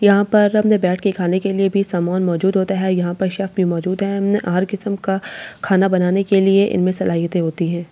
यहाँ पर अपने बैठ के खाने के लिए भी सामान मौजूद होता है यहाँ पर शेफ भी मौजूद है यहाँ हर किसम का खाना बनाने के लिए इसमे सलाइते होती है ।